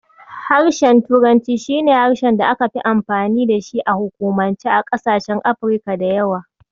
Harshen turanci shi ne harshen da ake amfani da shi a hukumance a ƙasashen Afrika da yawa.